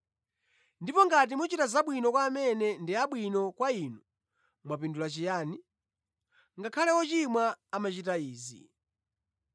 Ndipo ngati muchita zabwino kwa amene ndi abwino kwa inu, mwapindula chiyani? Ngakhale ‘ochimwa’ amachita izi.